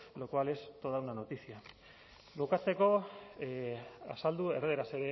lo cual es toda una noticia bukatzeko azaldu erdaraz